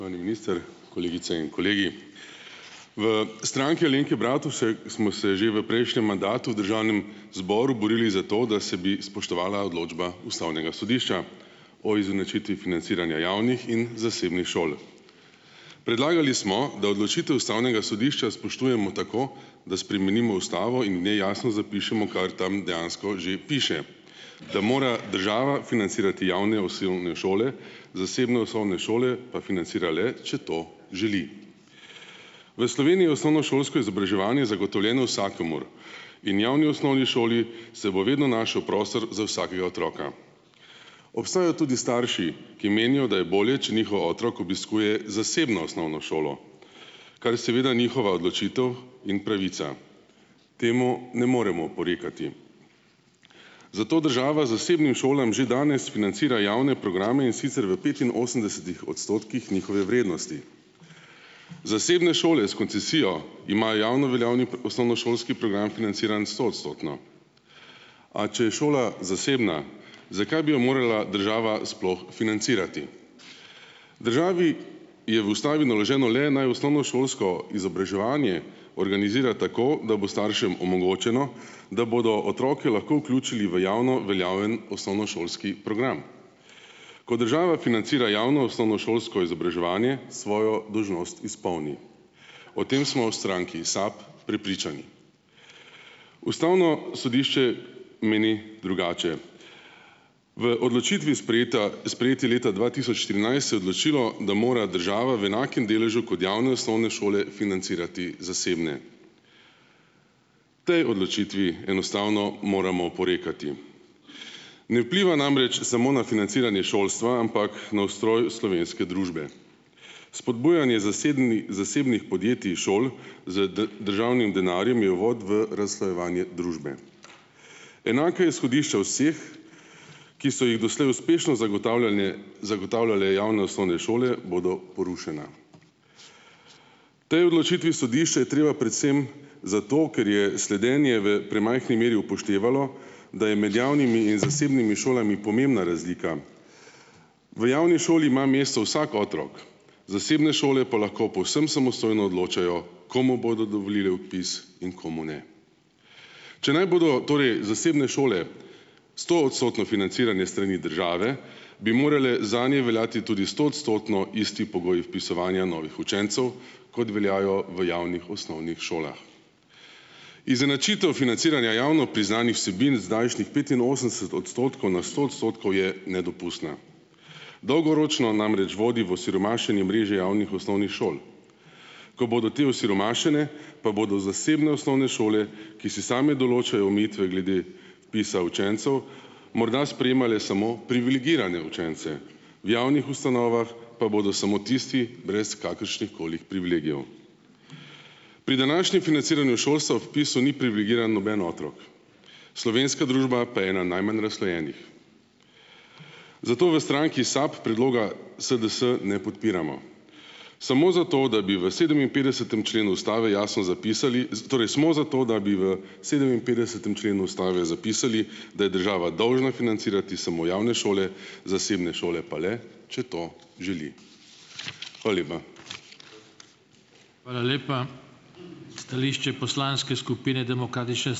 ...ovani minister, kolegice in kolegi. V Stranki Alenke Bratušek smo se že v prejšnjem mandatu v državnem zboru borili za to, da se bi spoštovala odločba ustavnega sodišča o izenačitvi financiranja javnih in zasebnih šol. Predlagali smo, da odločitev ustavnega sodišča spoštujemo tako, da spremenimo ustavo in v njej jasno zapišemo, kar tam dejansko že piše, da mora država financirati javne osnovne šole, zasebne osnovne šole pa financira le, če to želi. V Sloveniji je osnovnošolsko izobraževanje zagotovljeno vsakomur. In v javni osnovni šoli se bo vedno našel prostor za vsakega otroka. Obstajajo tudi starši, ki menijo, da je bolje, če njihov otrok obiskuje zasebno osnovno šolo. Kar je seveda njihova odločitev in pravica. Temu ne moremo oporekati. Zato država zasebnim šolam že danes financira javne programe, in sicer v petinosemdesetih odstotkih njihove vrednosti. Zasebne šole s koncesijo imajo javno veljavni osnovnošolski program financiran stoodstotno. A če je šola zasebna, zakaj bi jo morala država sploh financirati? Državi je v ustavi naloženo le, naj osnovnošolsko izobraževanje organizira tako, da bo staršem omogočeno, da bodo otroke lahko vključili v javno veljavni osnovnošolski program. Ko država financira javno osnovnošolsko izobraževanje svojo dolžnost izpolni. O tem smo v stranki SAB prepričani. Ustavno sodišče meni drugače. V odločitvi, sprejeta sprejeti leta dva tisoč trinajst, se je odločilo, da mora država v enakem deležu kot javne osnovne šole financirati zasebne. Potem odločitvi enostavno moramo oporekati. Ne vpliva namreč samo na financiranje šolstva, ampak na ustroj slovenske družbe. Spodbujanje zasebnih podjetij, šol, z državnim denarjem je uvod v razslojevanje družbe. Enaka izhodišča vseh, ki so jih doslej uspešno zagotavljanje zagotavljale javne osnovne šole, bodo porušena. Potem odločitvi sodišča je treba predvsem - zato ker je sledenje v premajhni meri upoštevalo, da je med javnimi in zasebnimi šolami pomembna razlika. V javni šoli ima mesto vsak otrok. Zasebne šole pa lahko povsem samostojno odločajo, komu bodo dovolile vpis in komu ne. Če naj bodo torej zasebne šole stoodstotno financirane s strani države, bi morale zanje veljati tudi stoodstotno isti pogoji vpisovanja novih učencev, kot veljajo v javnih osnovnih šolah. Izenačitev financiranja javno priznanih vsebin z zdajšnjih petinosemdeset odstotkov na sto odstotkov je nedopustna. Dolgoročno namreč vodi v osiromašenje mreže javnih osnovnih šol. Ko bodo te osiromašene, pa bodo zasebne osnovne šole, ki si same določajo omejitve glede vpisa učencev, morda sprejemale samo privilegirane učence. V javnih ustanovah pa bodo samo tisti, brez kakršnihkoli privilegijev. Pri današnjem financiranju šolstva ob vpisu ni privilegiran noben otrok. Slovenska družba pa je ena najmanj razslojenih. Zato v stranki SAB predloga SDS ne podpiramo. Samo zato, da bi v sedeminpetdesetem členu ustave jasno zapisali - torej, smo za to, da bi v sedeminpetdesetem členu ustave zapisali, da je država dolžna financirati samo javne šole, zasebne šole pa le, če to želi. Hvala lepa.